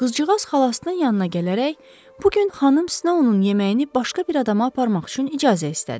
Qızcığaz xalasının yanına gələrək, bu gün xanım sına onun yeməyini başqa bir adama aparmaq üçün icazə istədi.